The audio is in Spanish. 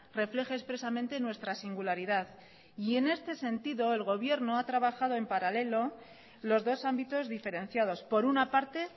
refleje expresamente nuestra singularidad y en este sentido el gobierno ha trabajado en paralelo los dos ámbitos diferenciados por una parte